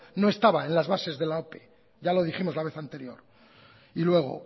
no estaba en las bases de la ope ya lo dijimos la vez anterior y luego